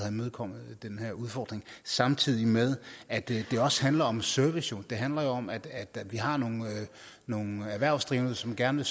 imødekommer den udfordring samtidig med at det jo også handler om service det handler om at vi har nogle erhvervsdrivende som gerne